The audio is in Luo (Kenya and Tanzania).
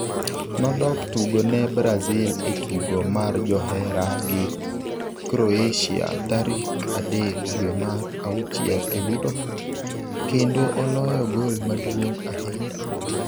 Nodok tugo ne Brazil e tugo mar johera gi Croatia tarik 3 dwe mar auchiel e Liverpool kendo oloyo gol maduong' ahinya.